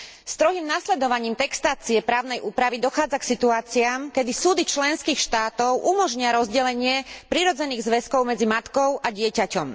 Strohým nasledovaním textácie právnej úpravy dochádza k situáciám, kedy súdy členských štátov umožnia rozdelenie prirodzených zväzkov medzi matkou a dieťaťom.